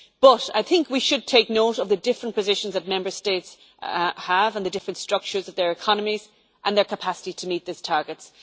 But I think we should take note of the different positions that Member States have, the different structures of their economies and their varying capacity to meet those targets.